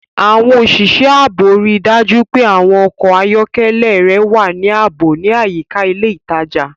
Àwọn òṣìṣẹ́ ààbò rí i dájú pé àwọn ọkọ̀ ayọ́kẹ́lẹ́ rẹ wà ní ààbò ní àyíká ilé ìtajà.